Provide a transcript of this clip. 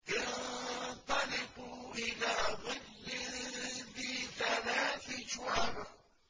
انطَلِقُوا إِلَىٰ ظِلٍّ ذِي ثَلَاثِ شُعَبٍ